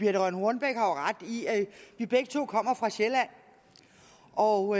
har jo ret i at vi begge to kommer fra sjælland og